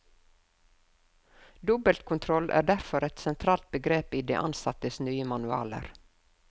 Dobbeltkontroll er derfor et sentralt begrep i de ansattes nye manualer.